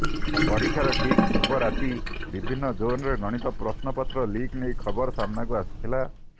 ପରୀକ୍ଷାର ଠିକ ପୂର୍ବ ରାତି ବିଭିନ୍ନ ଜୋନରେ ଗଣିତ ପ୍ରଶ୍ନପତ୍ର ଲିକ୍ ନେଇ ଖବର ସାମ୍ନାକୁ ଆସିଥିଲା